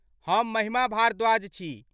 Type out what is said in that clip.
हम महिमा भारद्वाज छी।